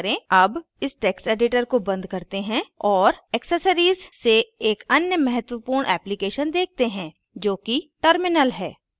अब इस text editor को बंद करते हैं और accessories से एक अन्य महत्वपूर्ण application देखते हैं जोकि terminal है